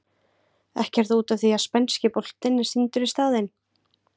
Ekki er það út af því að spænski boltinn er sýndur í staðinn?